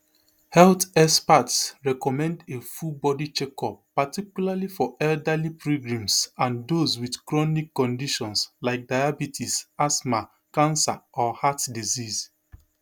health experts recommend a full body checkup particularly for elderly pilgrims and those wit chronic conditions like diabetes asthma cancer or heart disease